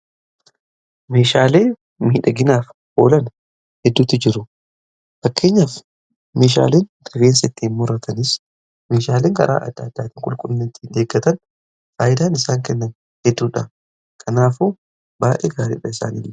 Meeshaalee miidhaginaaf oolan hedduutti jiru fakkeenyaaf meshaaleen rifeensittiin murratanis meshaaleen garaa adda adda atii qulqulinattii eegatan faayidaan isaan kennan hedduudha kanaafu baay'ee gaariidha isaaniilee.